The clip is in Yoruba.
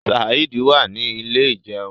Saheed wá ní Ilé ìjẹun.